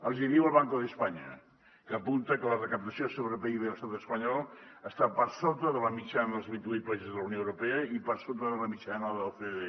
els hi diu el banco de españa que apunta que la recaptació sobre pib a l’estat espanyol està per sota de la mitjana dels vint i vuit països de la unió europea i per sota de la mitjana de l’ocde